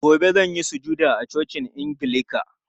Gobe zan yi sujada a cocin angilika.